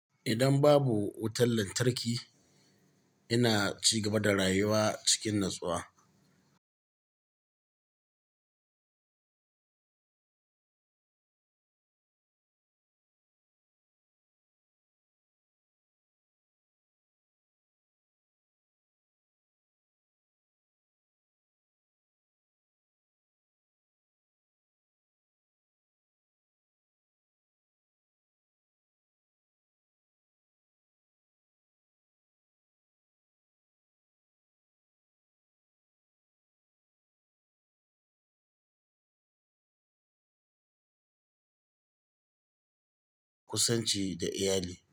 Idan babu wutar lantarki, ina ci gaba da rayuwa cikin natsuwa. Kusanci da iyalai.